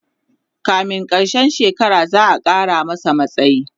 kamin karshen shekara za'a Kara masa matsayi